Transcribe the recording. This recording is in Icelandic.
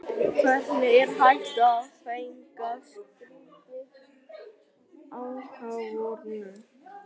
Hvernig er hægt að fagna slíkri ákvörðun?